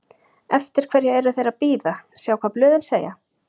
Eftir hverju er þeir að bíða, sjá hvað blöðin segja?